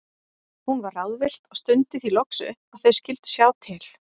Hún var ráðvillt og stundi því loks upp að þau skyldu sjá til.